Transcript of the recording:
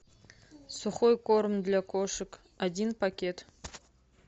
сухой корм для кошек один пакет